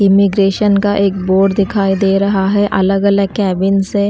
immigration का एक board दिखाई दे रहा है अलग-अलग कैबिन से --